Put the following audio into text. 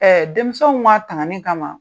denmisɛnw ka tangani kama.